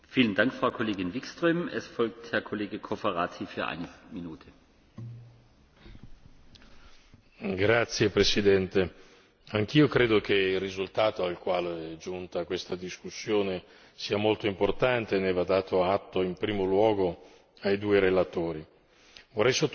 Signor Presidente, onorevoli colleghi, anch'io credo che il risultato al quale è giunta questa discussione sia molto importante, ne va dato atto in primo luogo ai due relatori. Vorrei sottolineare peraltro un punto specifico, che è quello